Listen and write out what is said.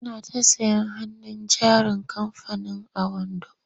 Suna ta sayen hannun jarin kamfanin owando.